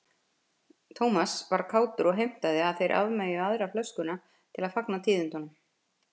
Thomas var kátur og heimtaði að þeir afmeyjuðu aðra flöskuna til að fagna tíðindunum.